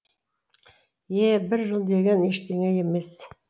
е бір жыл деген ештеңе емес